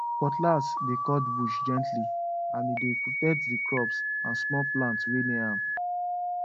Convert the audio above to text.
cutlass dey cut bush gently and e dey protect the crops and small plants wey near am